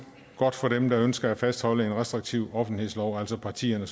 godt for dem der ønsker at fastholde en restriktiv offentlighedslov altså partierne